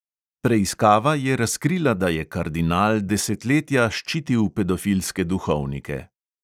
Preiskava je razkrila, da je kardinal desetletja ščitil pedofilske duhovnike.